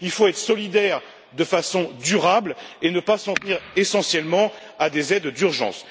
Il faut être solidaire de façon durable et ne pas s'en tenir essentiellement à des aides d'urgence.